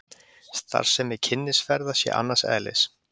Starfsemi Kynnisferða sé annars eðlis